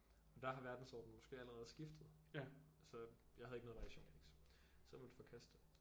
Og der har verdensordnen måske allerede skiftet så jeg havde ikke noget variation så jeg måtte forkaste det